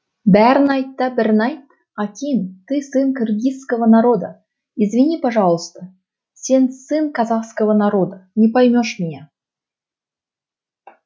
бәрін айт да бірін айт аким ты сын киргизского народа извини пожалуйста сен сын казахского народа не поймешь меня